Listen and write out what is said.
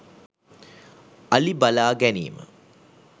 අලි බලා ගැනීම